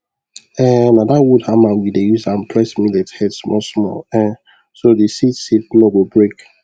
um na that wood hammer we dey use am press millet head small small um so the seed seed no go break